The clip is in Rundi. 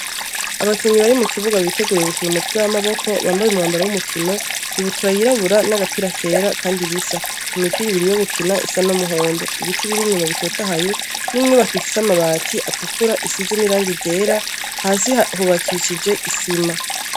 Abakinyi bari mukibuga biteguriye gukina umukino w'amaboko bambaye umwambaro wumukino ibutura yirabura nagapira kera kandi bisa, imipira ibiri yo gukina isa numuhondo, ibiti biri inyuma bitotahaye, n'inyubako ifise amabati atukura asize nirangi ryera hasi hubakishije isima.